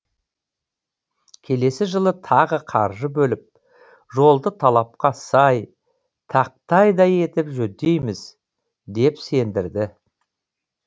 келесі жылы тағы қаржы бөліп жолды талапқа сай тақтайдай етіп жөндейміз деп сендірді